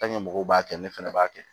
mɔgɔw b'a kɛ ne fɛnɛ b'a kɛ